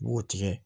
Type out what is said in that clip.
I b'o tigɛ